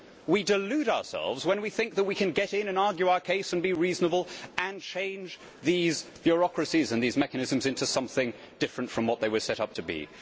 We delude ourselves when we think that we can get in and argue our case, and be reasonable, and change these bureaucracies and these mechanisms into something different from what they were set up to be.